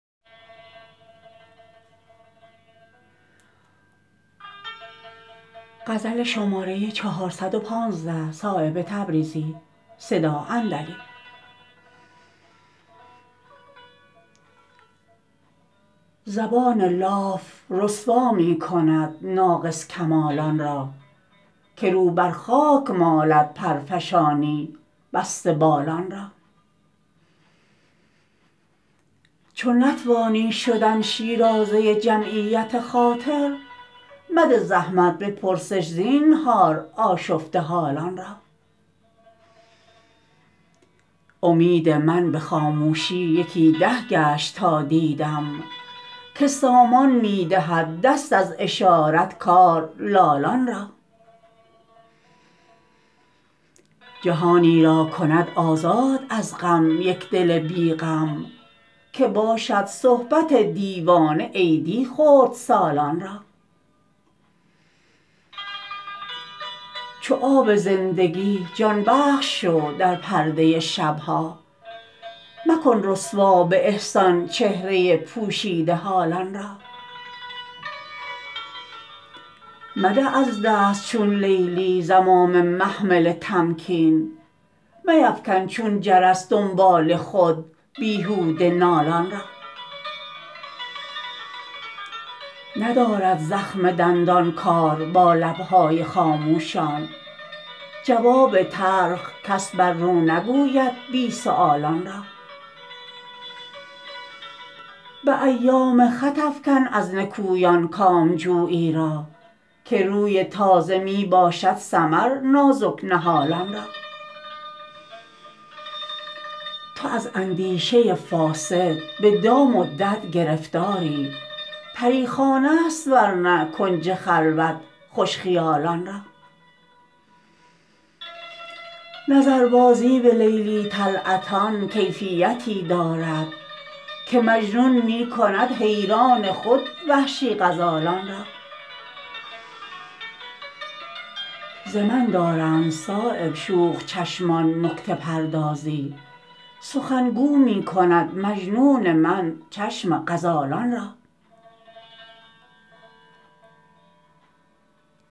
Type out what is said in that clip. زبان لاف رسوا می کند ناقص کمالان را که رو بر خاک مالد پرفشانی بسته بالان را چو نتوانی شدن شیرازه جمعیت خاطر مده زحمت به پرسش زینهار آشفته حالان را امید من به خاموشی یکی ده گشت تا دیدم که سامان می دهد دست از اشارت کار لالان را جهانی را کند آزاد از غم یک دل بی غم که باشد صحبت دیوانه عیدی خردسالان را چو آب زندگی جان بخش شو در پرده شبها مکن رسوا به احسان چهره پوشیده حالان را مده از دست چون لیلی زمام محمل تمکین میفکن چون جرس دنبال خود بیهوده نالان را ندارد زخم دندان کار با لبهای خاموشان جواب تلخ کس بر رو نگوید بی سؤالان را به ایام خط افکن از نکویان کامجویی را که روی تازه می باشد ثمر نازک نهالان را تو از اندیشه فاسد به دام و دد گرفتاری پریخانه است ورنه کنج خلوت خوش خیالان را نظربازی به لیلی طلعتان کیفیتی دارد که مجنون می کند حیران خود وحشی غزالان را ز من دارند صایب شوخ چشمان نکته پردازی سخنگو می کند مجنون من چشم غزالان را